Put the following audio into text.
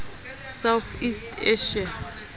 south east asia